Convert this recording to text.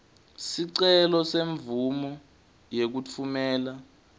sicelo semvumo yekutfumela